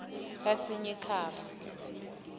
kasinyikhaba